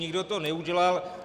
Nikdo to neudělal.